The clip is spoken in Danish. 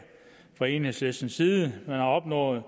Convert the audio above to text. fra enhedslistens side man har opnået